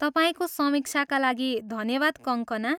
तपाईँको समीक्षाका लागि धन्यवाद कङ्कना।